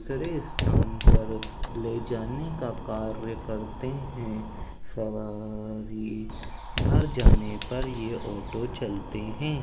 दूसरे स्थान पर ले जाने का कार्य करते हैं सवा अ अ री भर जाने पर ये ऑटो चलते हैं।